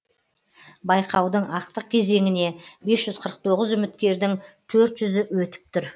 байқаудың ақтық кезеңіне бес жүз қырық тоғыз үміткердің төрт жүзі өтіп тұр